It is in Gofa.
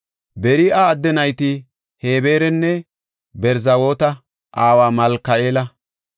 Beri7a adde nayti Hebeeranne Berzaaweta aawa Malka7eela.